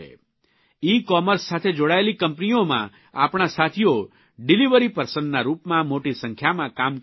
e-commerce સાથે જોડાયેલી કંપનીઓમાં આપણા સાથીઓ ડીલીવરી પર્સનના રૂપમાં મોટી સંખ્યામાં કામ કરી રહ્યા છે